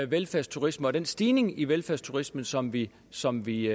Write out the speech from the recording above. velfærdsturisme og den stigning i velfærdsturisme som vi som vi